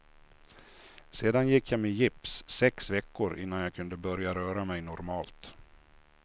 Sedan gick jag med gips sex veckor innan jag kunde börja röra mig normalt.